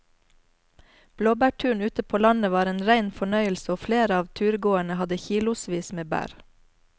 Blåbærturen ute på landet var en rein fornøyelse og flere av turgåerene hadde kilosvis med bær.